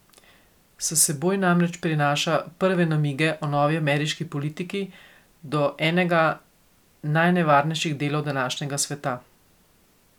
S seboj namreč prinaša prve namige o novi ameriški politiki do enega najnevarnejših delov današnjega sveta.